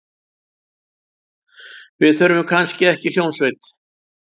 Við þurfum kannski ekki hljómsveit.